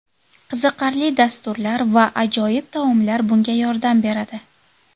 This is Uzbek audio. Qiziqarli dasturlar va ajoyib taomlar bunga yordam beradi.